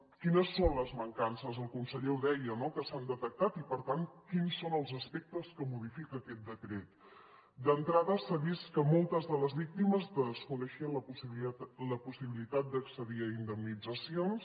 quines són les mancances el conseller ho deia no que s’han detectat i per tant quins són els aspectes que modifica aquest decret d’entrada s’ha vist que moltes de les víctimes desconeixien la possibilitat d’accedir a indemnitzacions